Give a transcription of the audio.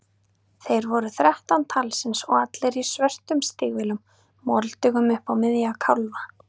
Þeir voru þrettán talsins og allir í svörtum stígvélum, moldugum upp á miðja kálfa.